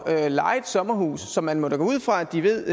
at leje et sommerhus så man må da gå ud fra at de ved